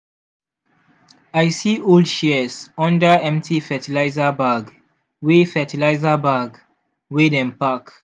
i see old shears under empty fertilizer bag wey fertilizer bag wey dem pack.